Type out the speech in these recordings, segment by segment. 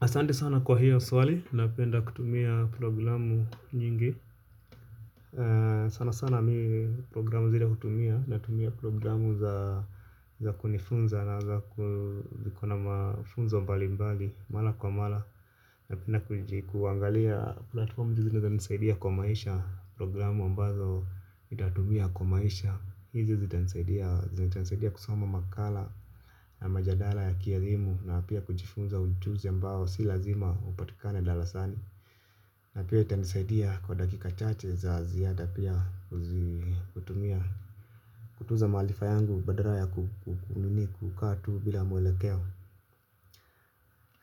Asante sana kwa hiyo swali, napenda kutumia programu nyingi sana sana ni programu zile hutumia natumia programu za za kunifunza na za kuna mafunzo mbali mbali mala kwa mala, napenda kuangalia platfomu zile zinaeza nisaidia kwa maisha. Programu ambazo nitatumia kwa maisha hizi zitanisaidia zitanisaidia kusoma makala na majadala ya kielimu. Na pia kujifunza ujuzi ambao si lazima upatikane dalasani. Na pia itanisaidia kwa dakika chache za ziada pia kutumia kutuza maalifa yangu badaraya kukunini kukaa tu bila mwelekeo.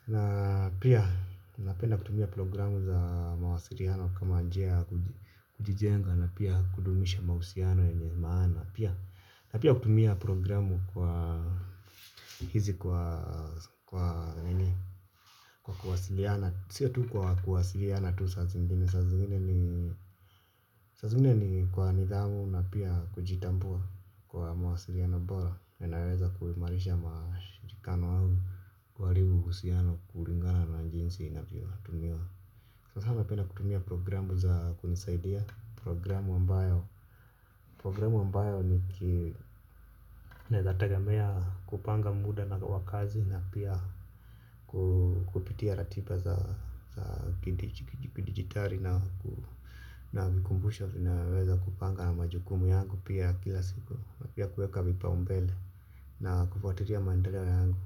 Na pia napenda kutumia programu za mawasiriano kama njia ya kujijenga. Na pia kudumisha mahusiano yenye maana pia. Na pia kutumia programu kwa hizi kwa kwa nini kwa kuwasiriana. Sia tu kwa kuwasiria na tu sazi mbinu, saa zingine ni saa zingine ni kwa nidhamu na pia kujitambua kwa mawasiriano bora na inaweza kuimarisha mashirikano au kuhalibu uhusiano kuringana na jinsi inavyotumiwa. Sasa na penda kutumia programu za kunisaidia programu ambayo programu ambayo niki naeza tegemea kupanga muda na wa kazi na pia ku kupitia ratiba za kidijitali na hunikumbsha naweza kupanga na majukumu yangu pia kila siku pia kuweka vipaumbele na kufuatilia mandeleo yangu.